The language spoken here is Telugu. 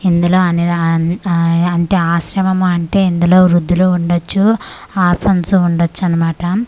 ఇందులో అనిర ఆన్ ఆ ఆశ్రమం అంటే ఇందులో వృధులు ఉండచ్చు ఆరఫాన్స్ ఉండచ్చు అన్నమాట.